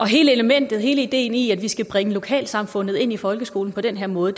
hele elementet hele ideen i at vi skal bringe lokalsamfundet ind i folkeskolen på den her måde